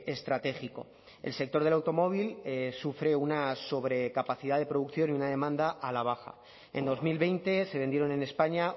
estratégico el sector del automóvil sufre una sobrecapacidad de producción y una demanda a la baja en dos mil veinte se vendieron en españa